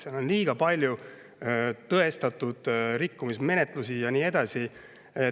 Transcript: Seal on liiga palju tõestatud rikkumisi ja nii edasi.